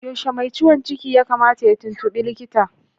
Yaushe mai ciwon ciki ya kamata ya tuntubi likita?